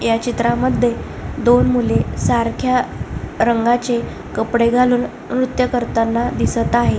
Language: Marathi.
ह्या चित्रामध्ये दोन मुले सारख्या रंगाचे कपडे घालून नृत्य करताना दिसत आहेत.